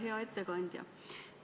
Hea ettekandja!